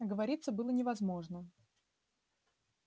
отговориться было невозможно